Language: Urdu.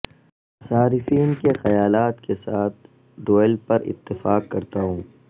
صارفین کے خیالات کے ساتھ ڈویلپر اتفاق کرتا ہوں